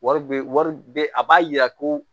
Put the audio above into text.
Wari be wari be a b'a yira ko